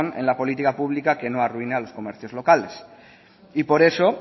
en la política pública que no arruine a los comercios locales por eso